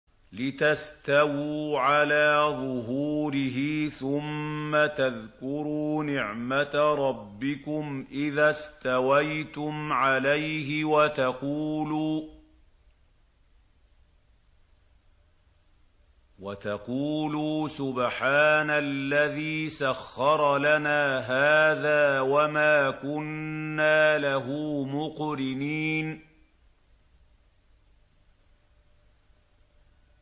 لِتَسْتَوُوا عَلَىٰ ظُهُورِهِ ثُمَّ تَذْكُرُوا نِعْمَةَ رَبِّكُمْ إِذَا اسْتَوَيْتُمْ عَلَيْهِ وَتَقُولُوا سُبْحَانَ الَّذِي سَخَّرَ لَنَا هَٰذَا وَمَا كُنَّا لَهُ مُقْرِنِينَ